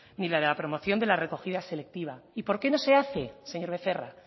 ni de la promoción de la recogida selectiva y por qué no se hace señor becerra